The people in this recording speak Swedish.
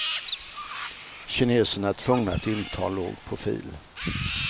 Kineserna är tvungna att inta låg profil.